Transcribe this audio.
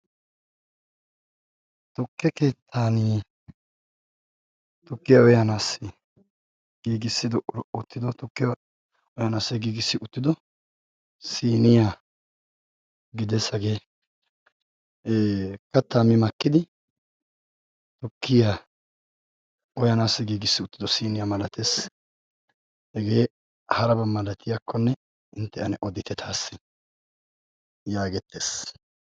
Tokke keettanii tokkiya oyaanaassi giigissid oottido tokkiya oyanaasse giigissi uttido siniyaa gidesagee kattaami makkidi tokkiya oyaanaassi giigissi uttido siniyaa malatees hegee haraba malatiyaakkonne intte ane odite taassi' yaagettees?